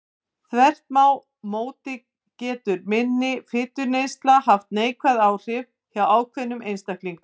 Þvert má móti getur minni fituneysla haft neikvæð áhrif hjá ákveðnum einstaklingum.